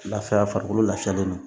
Lafiya farikolo lafiyalen don